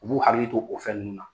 U b'u hakili to o fɛn ninnu na.